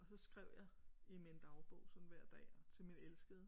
Og så skrev jeg i min dagbog sådan hver dag og til min elskede